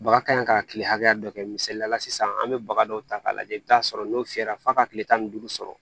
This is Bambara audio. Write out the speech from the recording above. Baga ka ɲi ka kile hakɛya dɔ kɛ misaliya la sisan an bɛ baga dɔw ta k'a lajɛ i bɛ t'a sɔrɔ n'o fiyɛra f'a ka tile tan ni duuru sɔrɔ